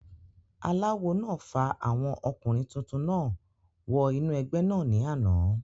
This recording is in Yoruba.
aláwo náà fa àwọn ọkùnrin tuntun náà wọ inú ẹgbẹ́ náà ní àná